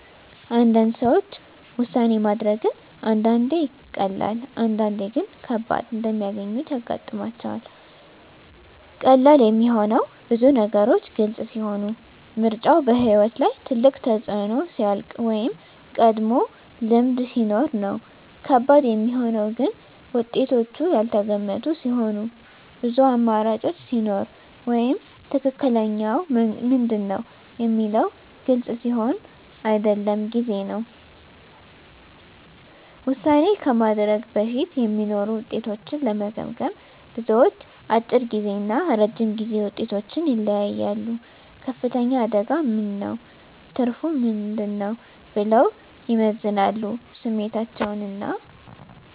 ብዙ ሰዎች ውሳኔ ማድረግን አንዳንዴ ቀላል፣ አንዳንዴ ግን ከባድ እንደሚያገኙት ያጋጥማቸዋል። ቀላል የሚሆነው ብዙ ነገሮች ግልጽ ሲሆኑ፣ ምርጫው በሕይወት ላይ ትልቅ ተፅዕኖ ሲያልቅ ወይም ቀድሞ ልምድ ሲኖር ነው። ከባድ የሚሆነው ግን ውጤቶቹ ያልተገመቱ ሲሆኑ፣ ብዙ አማራጮች ሲኖሩ ወይም “ትክክለኛው ምንድን ነው?” የሚለው ግልጽ ሲሆን አይደለም ጊዜ ነው። ውሳኔ ከማድረግ በፊት የሚኖሩ ውጤቶችን ለመገመገም፣ ብዙዎች፦ አጭር ጊዜ እና ረጅም ጊዜ ውጤቶችን ይለያያሉ “ከፍተኛ አደጋ ምን ነው? ትርፉ ምን ነው?” ብለው ይመዝናሉ ስሜታቸውን እና